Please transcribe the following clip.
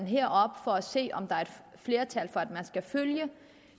her for at se om der er et flertal for at man skal følge